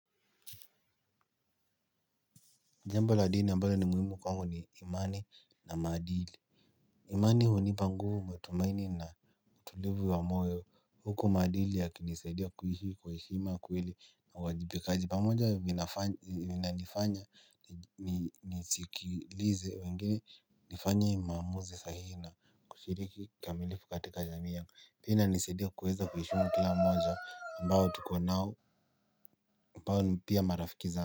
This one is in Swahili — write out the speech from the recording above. Jambo la dini ambalo ni muhimu kwangu ni imani na maadili. Imani hunipa nguvu matumaini na tulivu wa moyo huku madili yakinisaidia kuishi kwa heshima kweli na uwajibikaji. Pamoja inanifanya nisikilize wengine nifanye maamuzi sahihi na kushiriki kikamilifu katika jamii yangu pia inanisadia kuweza kuheshimu kila mmoja ambao tuko nao ambao ni pia marafiki zangu.